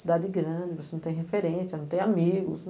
Cidade grande, você não tem referência, não tem amigos.